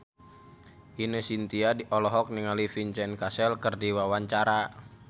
Ine Shintya olohok ningali Vincent Cassel keur diwawancara